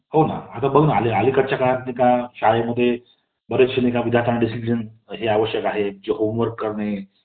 धन्यवाद